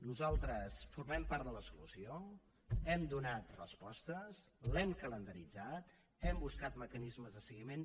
nosaltres formem part de la solució hem donat respostes l’hem calendaritzat hem buscat mecanismes de seguiment